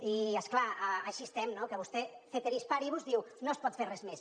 i és clar així estem que vostè ceteris paribus diu no es pot fer res més